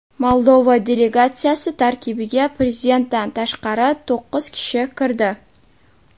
Moldova delegatsiyasi tarkibiga prezidentdan tashqari to‘qqiz kishi kirdi.